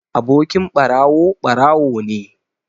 Abokin ɓarawo, ɓarawo ne